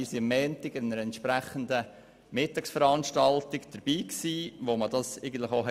Am Montag haben wir eine entsprechende Mittagsveranstaltung besucht.